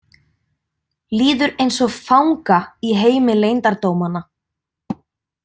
Líður eins og fanga í heimi leyndardómanna.